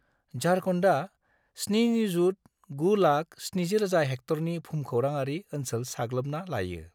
झारखान्डआ 7,970,000 हेक्टरनि भुमखौराङारि ओनसोल साग्लोबना लायो।